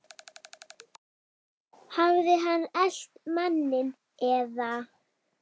Hafði hann elt manninn eða?